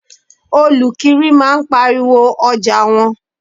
Olukiri máa ń pariwo ọjà wọn.